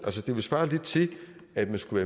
det ville svare lidt til at man skulle